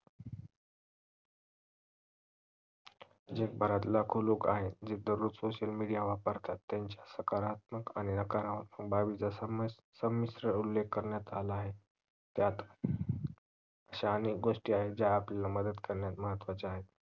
जगभरात लाखो लोक आहेत जे दररोज social media वापरतात त्यांचे सकारात्मक आणि नकारात्मक समिश्र उल्लेख करण्यात आला आहे त्यात अनेक गोस्टी आहेत जे आपल्याला मदत करण्यास महत्वाच्या आहेत